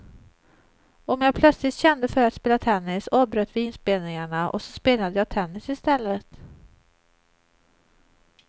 Om jag plötsligt kände för att spela tennis avbröt vi inspelningarna, och så spelade jag tennis i stället.